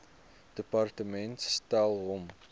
departement stel hom